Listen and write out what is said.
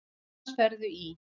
Annars ferðu í.